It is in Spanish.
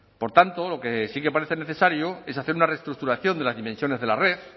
por tanto lo que sí que parece necesario es hacer una reestructuración de las dimensiones de la red